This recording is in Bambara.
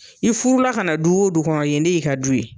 I furula ka na du wo du kɔnɔ yen de y'i ka du ye.